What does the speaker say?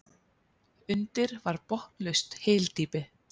Undir var botnlaust hyldýpi.